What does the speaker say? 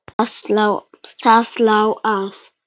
Það lá að.